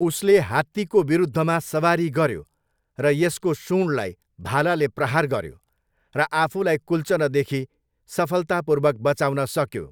उसले हात्तीको विरुद्धमा सवारी गऱ्यो र यसको सुँडलाई भालाले प्रहार गऱ्यो, र आफूलाई कुल्चनदेखि सफलतापूर्वक बचाउन सक्यो।